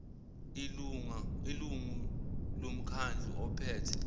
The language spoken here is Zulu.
ilungu lomkhandlu ophethe